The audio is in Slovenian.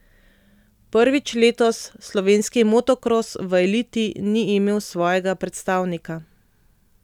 Prvič letos slovenski motokros v eliti ni imel svojega predstavnika.